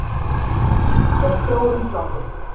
Keppt er í fjórum flokkum